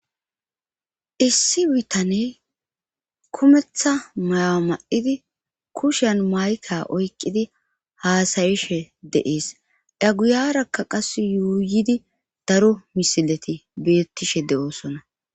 issi bitaney kumetha maywa ma7idi kushen mayka oykqidi haasayishe deees aguyarakka qas yuuyidi daro misileti beettishe de7oosona